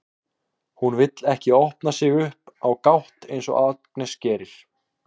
Hún vill ekki opna sig upp á gátt eins og Agnes gerir.